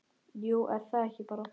Jú, er það ekki bara?